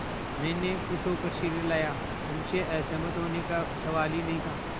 मैंने खुश होकर सिर हिलाया उनसे असहमत होने का सवाल ही नहीं था